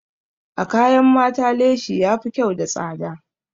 A kayan mata leshi yafi kyau da tsada.